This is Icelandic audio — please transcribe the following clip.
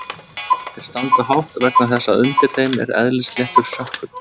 þeir standa hátt vegna þess að undir þeim er eðlisléttur sökkull